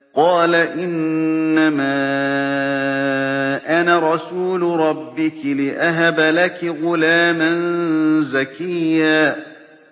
قَالَ إِنَّمَا أَنَا رَسُولُ رَبِّكِ لِأَهَبَ لَكِ غُلَامًا زَكِيًّا